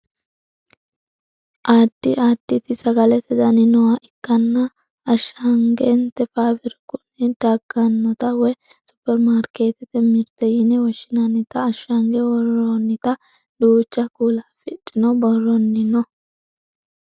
addi additi sagalete dani nooha ikkanna ashshagante faabirikunni daggannota woye supperimaarkkeettete mirte yine woshshinannita ashshange worroonita duucha kuula afidhino borronni no